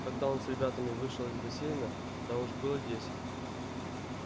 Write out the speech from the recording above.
когда он с ребятами вышел из бассейна да уж было десять